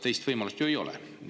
Teist võimalust ju neil ei ole.